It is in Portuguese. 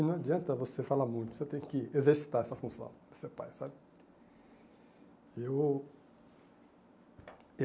E não adianta você falar muito, você tem que exercitar essa função, ser pai, sabe? Eu